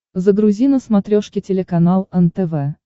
загрузи на смотрешке телеканал нтв